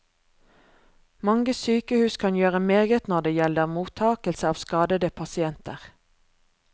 Mange sykehus kan gjøre meget når det gjelder mottagelse av skadede pasienter.